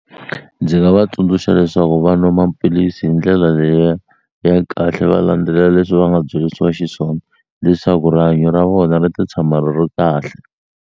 Ndzi nga va tsundzuxa leswaku va nwa maphilisi hi ndlela liya ya kahle va landzelela leswi va nga byelisiwa xiswona leswaku rihanyo ra vona ri ta tshama ri ri kahle.